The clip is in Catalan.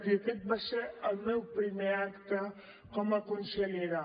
i aquest va ser el meu primer acte com a consellera